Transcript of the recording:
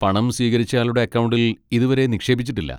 പണം സ്വീകരിച്ചയാളുടെ അക്കൗണ്ടിൽ ഇതുവരെ നിക്ഷേപിച്ചിട്ടില്ല.